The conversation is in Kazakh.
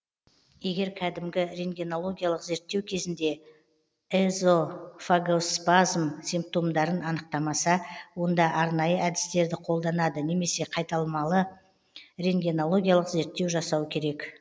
егер кәдімгі рентгенологиялық зерттеу кезінде эзофагоспазм симптомдарын анықтамаса онда арнайы әдістерді қолданады немесе қайталамалы рентгенологиялық зерттеу жасау керек